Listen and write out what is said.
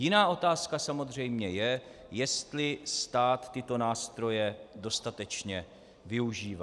Jiná otázka samozřejmě je, jestli stát tyto nástroje dostatečně využívá.